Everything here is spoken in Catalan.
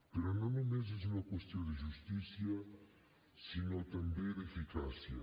però no només és una qüestió de justícia sinó també d’eficàcia